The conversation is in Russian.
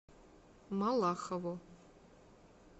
малахову